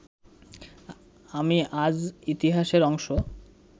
আমি আজ ইতিহাসের অংশ